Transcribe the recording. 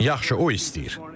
Yaxşı, o istəyir.